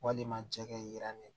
Walima cɛkɛra ne